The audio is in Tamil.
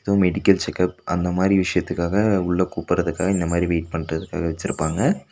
ஏதோ மெடிக்கல் செக்கப் அந்த மாரி விஷயத்துக்காக உள்ள கூப்படுறதுக்காக இந்த மாரி வெய்ட் பண்றதுக்காக வெச்சுருப்பாங்க.